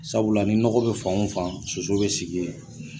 Sabula ni nɔgɔ bɛ fan o fan soso bɛ sigi yen.